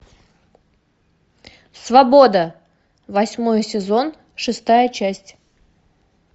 свобода восьмой сезон шестая часть